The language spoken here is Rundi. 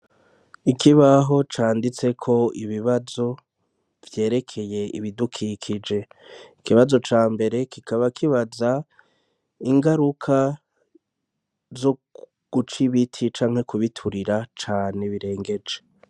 ikibaho canditseko ibibazo vyerekeye ibidukikije ikibazo cambere kikaba kibaza ingaruka zoguca ibiti canke kubiturira cane birengeje